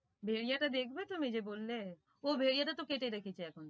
ভেড়িয়া টা দেখবে তুমি যে বললে ও ভেড়িয়া টা তো কেটে রেখেছে এখন।